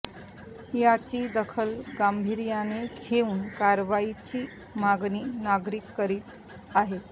याची दखल गांभीर्याने घेऊन कारवाईची मागणी नागरिक करीत आहेत